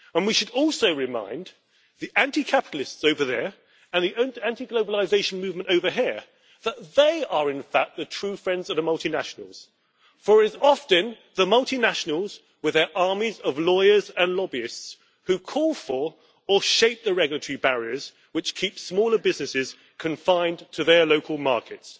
And we should also remind the anti capitalists over there, and the anti globalisation movement over here, that they are in fact the true friends of the multinationals, for it is often the multinationals with their armies of lawyers and lobbyists who call for, or shape, the regulatory barriers which keep smaller businesses confined to their local markets.